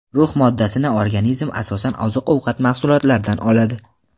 Rux moddasini organizm asosan oziq-ovqat mahsulotlaridan oladi.